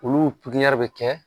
Olu pigiɲɛri bɛ kɛ